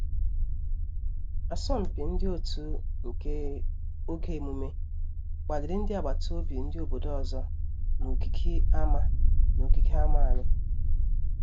Asọmpi ndị otu nke oge emume kpaliri ndị abata obi obodo ọzọ na ogigi ama na ogigi ama anyị